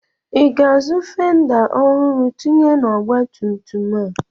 Ị ga-azụ fenda ọhụrụ tinye n'ọgbatumtum a?